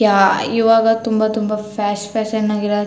ಯಾ ಈವಾಗ ತುಂಬಾ ತುಂಬಾ ಫ್ಯಾಷ್ ಫ್ಯಾಷನ್ ಆಗಿರೋ --